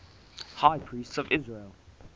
high priests of israel